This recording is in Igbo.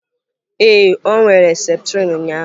Ee, ọ were septrin ụnyaahụ.